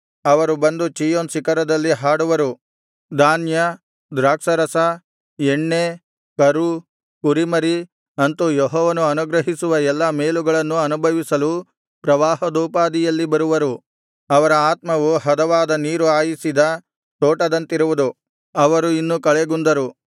ಅವರು ಬಂದು ಚೀಯೋನ್ ಶಿಖರದಲ್ಲಿ ಹಾಡುವರು ಧಾನ್ಯ ದ್ರಾಕ್ಷಾರಸ ಎಣ್ಣೆ ಕರು ಕುರಿಮರಿ ಅಂತು ಯೆಹೋವನು ಅನುಗ್ರಹಿಸುವ ಎಲ್ಲಾ ಮೇಲುಗಳನ್ನು ಅನುಭವಿಸಲು ಪ್ರವಾಹದೋಪಾದಿಯಲ್ಲಿ ಬರುವರು ಅವರ ಆತ್ಮವು ಹದವಾಗಿ ನೀರು ಹಾಯಿಸಿದ ತೋಟದಂತಿರುವುದು ಅವರು ಇನ್ನು ಕಳೆಗುಂದರು